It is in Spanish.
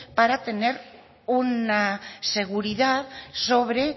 para tener una seguridad sobre